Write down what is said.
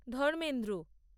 Dharmendra